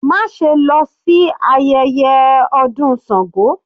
Má ṣe lọ sí ayẹyẹ ọdún Sango.